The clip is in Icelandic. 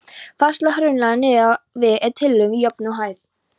Færsla hraunlaganna niður á við er tiltölulega jöfn og hæg.